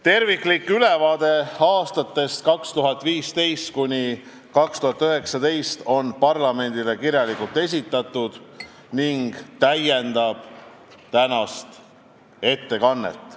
Terviklik ülevaade aastatest 2015–2019 on parlamendile kirjalikult esitatud ning täiendab tänast ettekannet.